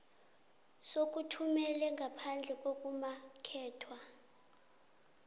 sokuthumela ngaphandle ngokumakethwa